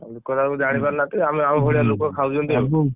ଆଉ ଲୋକଅରା ସବୁ ଜାଣିପାରୁନାହାନ୍ତି ହୁଁ ଆମ ଭଳିଆ ଲୋକ ଖାଉଛନ୍ତି ଆଉ।